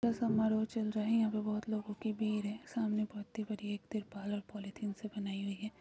समारोह चल रहा है यहा पे बहुत लोगो की भीड़ हैं सामने बाती बरी हैं एक दिपाल और पॉलीथिन से बनाई हुई हैं।